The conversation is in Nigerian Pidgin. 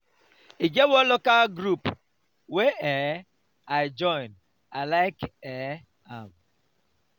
e get one local dance group wey um i join i like um am.